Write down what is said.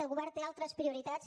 el govern té altres prioritats